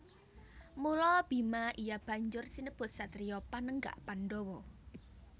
Mula Bima iya banjur sinebut satriya Panenggak Pandhawa